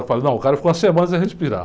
Falo, não o cara ficou uma semana sem respirar.